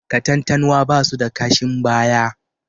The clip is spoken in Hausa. Katantanwa ba su da kashin baya